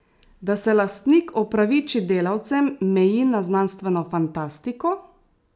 Da se lastnik opraviči delavcem, meji na znanstveno fantastiko!